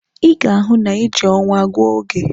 Ị ga-ahụ na ị ji ọnwa gụọ oge!